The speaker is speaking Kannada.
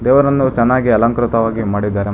ದೇವರನ್ನು ಚೆನ್ನಾಗಿ ಅಲಂಕೃತವಾಗಿ ಮಾಡಿದ್ದಾರೆ ಮ--